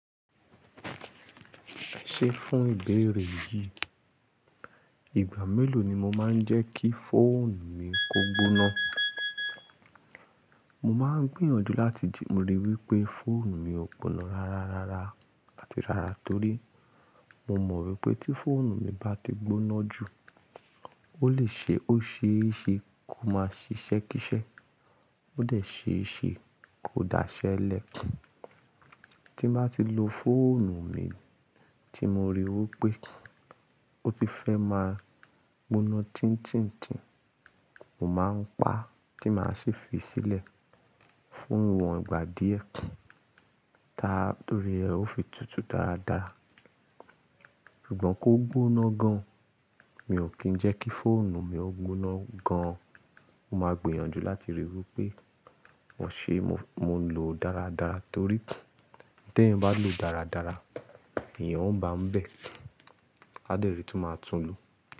Ṣé fún ìbéèrè yìí, ìgbà mélòó ni mo máa ń jẹ́ kí fóònù mi kó gbóná? Mo máa ń gbìyànjú láti jí-- mo rí i wípé fóònù mi ò gbóná rárá rárá àti rárá torí mo mọ̀ wípé tí fóònù mi bá ti gbóná jù, ó lè ṣe ó ṣe é ṣe kó máa ṣiṣẹ́ kíṣẹ́, ó dè ṣe é ṣe kó dáṣẹ́ lẹ̀. Tí bá ti lo fóònù mi tí mo ríi wí pé ó ti fẹ́ máa gbóná tín tíń tíń, mo máa ń pa á tí màá ṣe fi í sílẹ̀ fún ìwọ̀n ìgbà díẹ̀, tá-- torí ẹ, ó fi tutù dáradára. Ṣùgbọ́n kó gbóná gan, mi ò kí ń jẹ́ kí fóònù mi ó gbóná gan. Mo máa gbìyànjú láti rí i wípé ṣé mo ń lo dáradára torí tí ẹ̀yin bá lò dáradára, ẹ̀yàn ó bá ń bẹ̀, a dẹ̀ ríi tí ó máa tún lù ú.